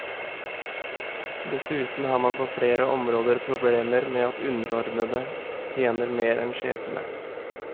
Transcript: Dessuten har man på flere områder problemer med at underordnede tjener mer enn sjefene.